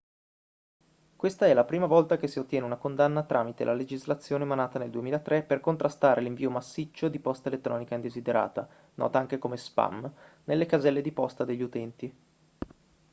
questa è la prima volta che si ottiene una condanna tramite la legislazione emanata nel 2003 per contrastare l'invio massiccio di posta elettronica indesiderata nota anche come spam nelle caselle di posta degli utenti